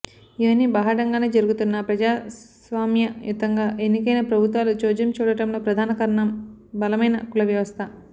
ఇవన్నీ బాహాటంగానే జరుగుతున్నా ప్రజాస్వామ్యయుతంగా ఎన్నికైన ప్రభుత్వాలు చోద్యం చూడటంలో ప్రధాన కారణం బలమైన కులవ్యవస్థ